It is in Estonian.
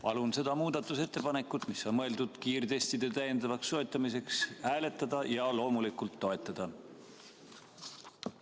Palun seda muudatusettepanekut, mis on mõeldud kiirtestide täiendavaks soetamiseks, hääletada ja loomulikult toetada!